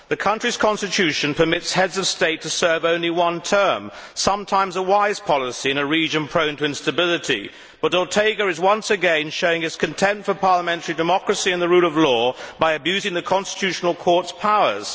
The country's constitution permits Heads of State to serve only one term, sometimes a wise policy in a region prone to instability, but Ortega is once again showing his contempt for parliamentary democracy and the rule of law by abusing the Constitutional Court's powers.